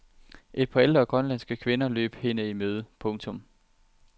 Et par ældre grønlandske kvinder løb hende i møde. punktum